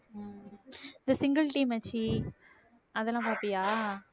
இது single tea மச்சி அதெல்லாம் பாப்பியா